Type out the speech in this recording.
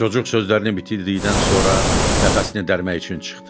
Cocuq sözlərini bitirdikdən sonra nəfəsini dərmək üçün çıxdı.